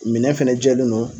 Minɛn fɛnɛ jɛlen don